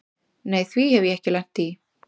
Nei því hef ég ekki lent í.